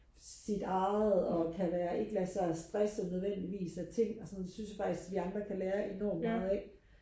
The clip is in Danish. sit eget og kan være ikke lade sig stresse nødvendigvis af ting og sådan noget det synes jeg faktisk vi andre kan lære enormt meget af